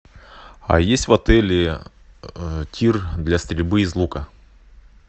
а есть в отеле тир для стрельбы из лука